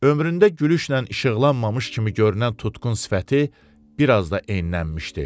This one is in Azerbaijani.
Ömründə gülüşlə işıqlanmamış kimi görünən tutqun sifəti bir az da enləmişdi.